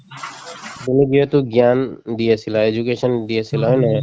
তুমি যিহেতু জ্ঞান দি আছিলা education দি আছিলা হয় নে নহয়